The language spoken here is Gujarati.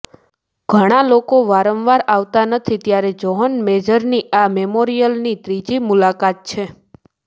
ઘણાં લોકો વારંવાર આવતા નથી ત્યારે જ્હોન મેજરની આ મેમોરિયલની ત્રીજી મુલાકાત છે